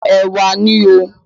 Ẹ̀wà ni o.